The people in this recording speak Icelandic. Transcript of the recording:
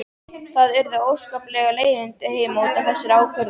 Það urðu óskapleg leiðindi heima út af þessari ákvörðun.